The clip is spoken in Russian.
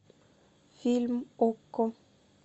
фильм окко